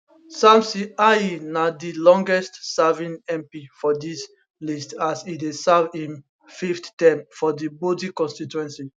samson ahi na di longest serving mp for dis list as e dey serve im fifth term for di bodi constituency